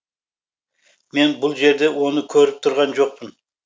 мен бұл жерде оны көріп тұрған жоқпын